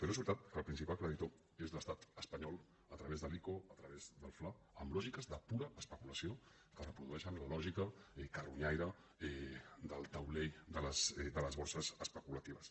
però és veritat que el principal credi·tor és l’estat espanyol a través de l’ico a través del fla amb lògiques de pura especulació que repro·dueixen la lògica carronyaire del taulell de les borses especulatives